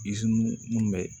minnu bɛ